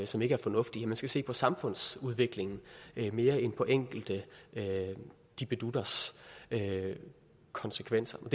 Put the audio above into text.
som ikke er fornuftig man skal se på samfundsudviklingen mere end på enkelte dippedutters konsekvenser